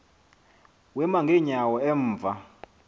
wema ngeenyawo emva